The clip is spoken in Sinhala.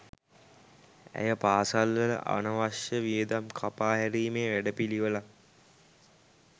ඇය පාසැල් වල අනවශ්‍ය වියදම් කපා හැරීමේ වැඩපිළිවෙලක්